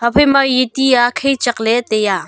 ephai ma eya ti a kaichek le tai a.